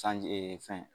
Sanji fɛn